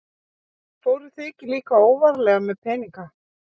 Fóruð þið ekki líka óvarlega með peninga?